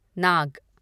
नाग